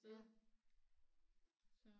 Ja